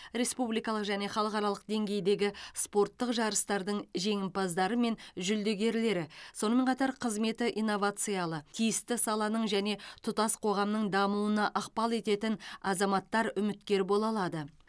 республикалық және халықаралық деңгейдегі спорттық жарыстардың жеңімпаздары мен жүлдегерлері сонымен қатар қызметі инновациялы тиісті саланың және тұтас қоғамның дамуына ықпал ететін азаматтар үміткер бола алады